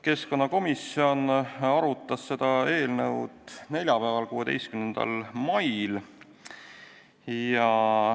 Keskkonnakomisjon arutas seda eelnõu neljapäeval, 16. mail.